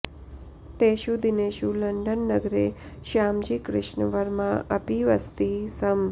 तेषु दिनेषु लण्डन् नगरे श्यामजी कृष्णवर्मा अपि वसति स्म